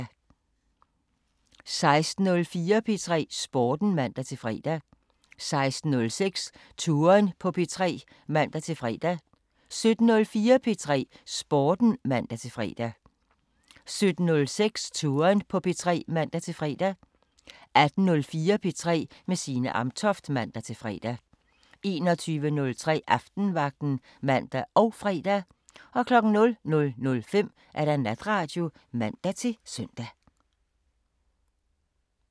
16:04: P3 Sporten (man-fre) 16:06: Touren på P3 (man-fre) 17:04: P3 Sporten (man-fre) 17:06: Touren på P3 (man-fre) 18:04: P3 med Signe Amtoft (man-fre) 21:03: Aftenvagten (man og fre) 00:05: Natradio (man-søn)